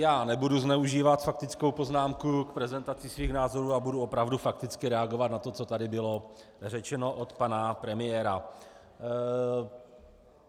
Já nebudu zneužívat faktickou poznámku k prezentaci svých názorů a budu opravdu fakticky reagovat na to, co tady bylo řečeno od pana premiéra.